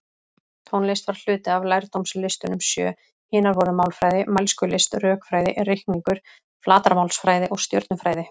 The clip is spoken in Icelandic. Tónlist var hluti af lærdómslistunum sjö, hinar voru málfræði, mælskulist, rökfræði, reikningur, flatarmálsfræði og stjörnufræði.